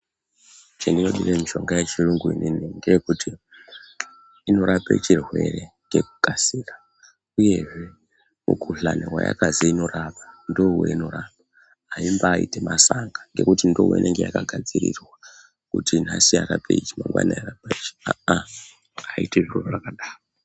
Chandinodire mushonga yechiyungu ini ngechekuti inorape chirwere ngekukasira uyezve mikhuhlani wayakazi inorapa ndoweinorapa aimbaiti masanga ngekuti ndoweinenge yakagadzirirwa kuti nhasi yarape ichi mangwana yarape ichi aa aa aiiti zviro zvakadaro.